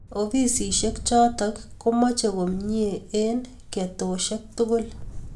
Ofisishek chotok ko mache komie eng' ketoshek tugul